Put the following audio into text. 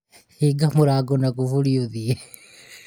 hinga mũrango na kũburi ũthiĩ